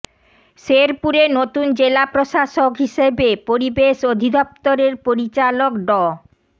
শেরপুরে নতুন জেলা প্রশাসক হিসেবে পরিবেশ অধিদপ্তরের পরিচালক ড